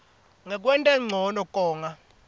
ngekwenta ncono konga